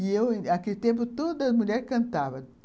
E eu, naquele tempo, toda mulher cantava.